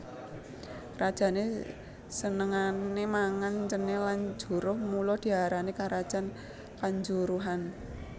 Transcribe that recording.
Rajané senengané mangan cenil lan juruh mula diarani karajan kanjuruhan